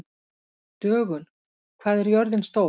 Dögun, hvað er jörðin stór?